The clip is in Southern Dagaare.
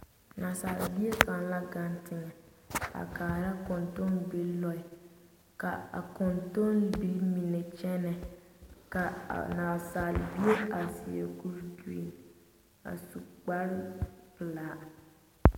Nasaalebie kaŋ la gaŋ teŋɛ a laara kontombilii loɛ ka a kontombilii mine kyɛnɛ a nasaalebie seɛ kuri gerene a su kpare pelaa.